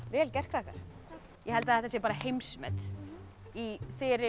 vel gert krakkar ég held þetta sé bara heimsmet í